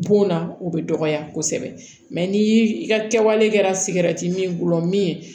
Bon na o bɛ dɔgɔya kosɛbɛ mɛ ni i ka kɛwale kɛra sigɛrɛti min bolo min ye